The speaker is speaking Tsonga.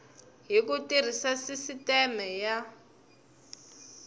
hi ku tirhisa sisiteme ya